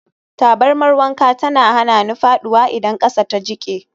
Tabarmar wanka tana hana ni faɗuwa idan ƙasa ta jike.